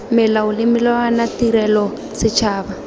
melao le melawana tirelo setšhaba